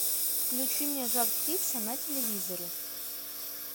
включи мне жар птица на телевизоре